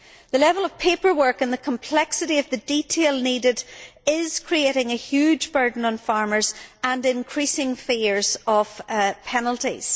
The level of paperwork and the complexity of the detail needed is creating a huge burden on farmers and increasing fears of penalties.